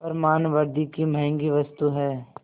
पर मानवृद्वि की महँगी वस्तु है